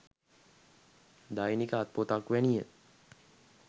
දෛනික අත් පොතක් වැනි ය.